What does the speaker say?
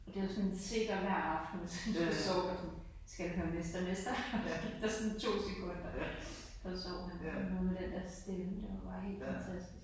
Og det var sådan en sikker hver aften hvis han skulle sove sådan skal du høre Mester Mester og så gik der sådan to sekunder så sov han noget med den der stemme det var bare helt fantastisk